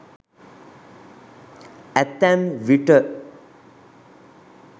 අතැම් විට